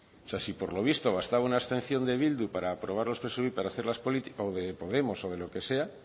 si por lo visto bastaba una abstención de bildu o de podemos o de lo que sea